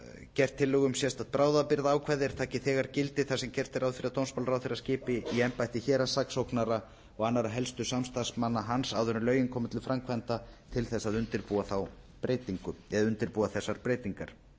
gert tillögu um sérstakt bráðabirgðaákvæði er taki þegar gildi þar sem gert er ráð fyrir að dómsmálaráðherra skipi í embætti héraðssaksóknara og annarra helstu samstarfsmanna hans áður en lögin komi til framkvæmda til þess að undirbúa þessar breytingar